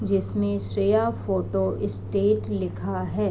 जिसमे श्रेया फोटोस्टेट लिखा हैं।